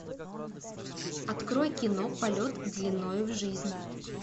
открой кино полет длинною в жизнь